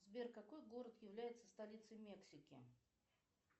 сбер какой город является столицей мексики